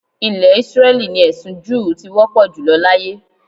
Ilẹ̀ Ísírẹ́lì ni ẹ̀sin júù ti wọ́pọ̀ jùlọ láyé